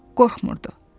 Qorxmurdu.